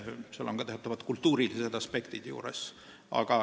Arvestada tuleb ka teatavaid kultuurilisi aspekte.